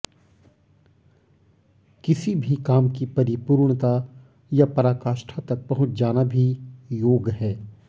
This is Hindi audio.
किसी भी काम की परिपूर्णता या पराकाष्ठा तक पहुंच जाना भी योग है